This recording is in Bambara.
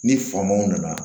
Ni famanw nana